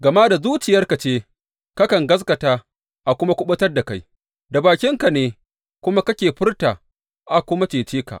Gama da zuciyarka ce kakan gaskata a kuma kuɓutar da kai, da bakinka ne kuma kake furta a kuma cece ka.